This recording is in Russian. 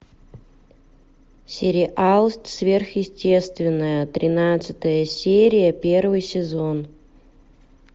сериал сверхъестественное тринадцатая серия первый сезон